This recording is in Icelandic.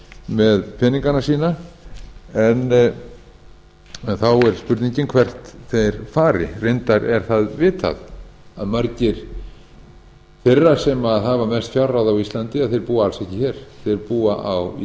með peningana sína en þá er spurningin hvert þeir fari reyndar er það vitað að margir þeirra sem hafa mest fjárráð á íslandi búa alls ekki hér þeir búa í